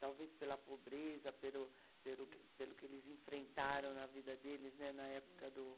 Talvez pela pobreza, pelo pelo pelo que eles enfrentaram na vida deles, né, na época do